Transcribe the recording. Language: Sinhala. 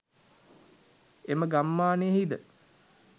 එම ගම්මානයෙහි ද